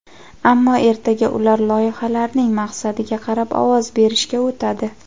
Ammo ertaga ular loyihalarning maqsadiga qarab ovoz berishga o‘tadi.